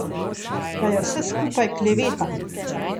Da je vse skupaj kleveta.